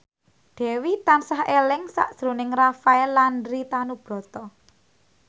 Dewi tansah eling sakjroning Rafael Landry Tanubrata